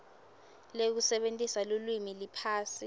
lekusebentisa lulwimi liphasi